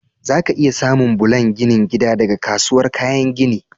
Zaka iya samun bulan ginin gida daga kasuwar kayan gini.